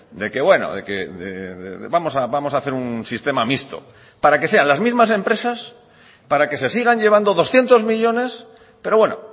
de que bueno vamos a hacer un sistema mixto para que sean las mismas empresas para que se sigan llevando doscientos millónes pero bueno